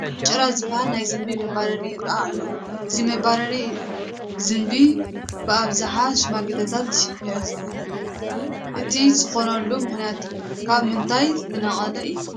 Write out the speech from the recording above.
ጭራ ዝበሃል ናይ ዝንቢ መባረሪ ይርአ ኣሎ፡፡ እዚ መባረሪ ዝንቢ ብኣብዝሓ ሽማግለታት ይሕዝዎ፡፡ እዚ ዝኾነሉ ምኽንያት ካብ ምንታይ ዝነቅል እዩ?